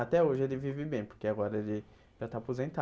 Até hoje ele vive bem, porque agora ele já está aposentado.